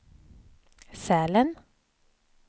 Sälen